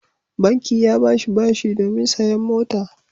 Banki ya ba shi bashi domin sayen mota.